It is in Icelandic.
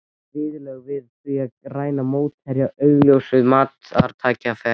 Viðurlög við því að ræna mótherja augljósu marktækifæri?